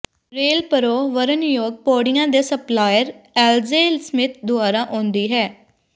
ਰੇਲਪਰੋ ਵਰਣਯੋਗ ਪੌੜੀਆਂ ਦੇ ਸਪਲਾਇਰ ਐਲਜੇ ਸਮਿਥ ਦੁਆਰਾ ਆਉਂਦੀ ਹੈ